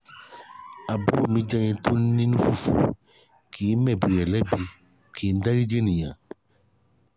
àbúrò mi jẹ́ ẹni tó ní inú fufu kìí mẹ̀bi rẹ̀ lẹ́bi ki n dáríji ènìyàn